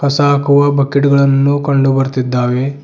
ಕಸ ಹಾಕುವ ಬಕೆಟ್ ಗಳನ್ನು ಕಂಡು ಬರ್ತಿದ್ದಾವೆ.